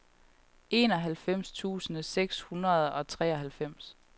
enoghalvfems tusind seks hundrede og treoghalvfems